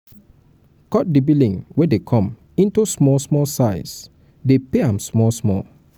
cut di billing wey dey come into small size dey pay am small small